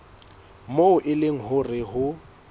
moo e leng hore ho